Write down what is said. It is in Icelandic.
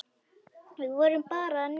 Við vorum bara að njósna,